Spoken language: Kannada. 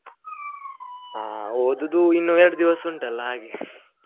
ಹಾ ಓದೋದು ಇನ್ನು ಎರಡು ದಿವಸ ಉಂಟ್ ಅಲ್ಲ ಹಾಗೆ.